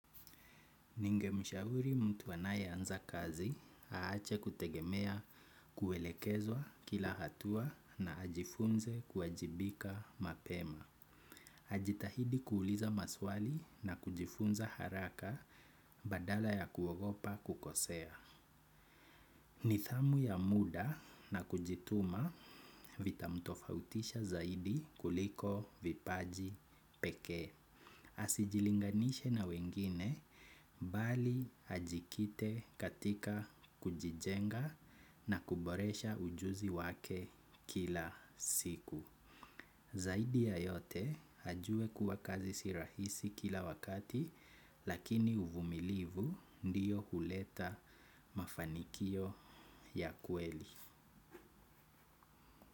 Ningemshauri mtu anayeanza k kazi ache kutegemea kuelekezwa kila hatua na ajifunze kuwajipika mapema. Ajitahidi kuuliza maswali na kujifunza haraka badala ya kuogopa kukosea. Nidhamu ya muda na kujituma itamtofautisha zaidi kuliko vipaji pekee. Asijilinganishe na wengine bali ajikite katika kujijenga na kuboresha ujuzi wake kila siku. Zaidi ya yote ajue kuwa kazi sirahisi kila wakati lakini uvumilivu ndiyo huleta mafanikio ya kweli.